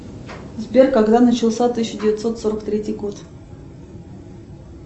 сбер когда начался тысяча девятьсот сорок третий год